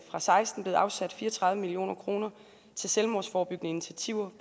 og seksten blevet afsat fire og tredive million kroner til selvmordsforebyggende initiativer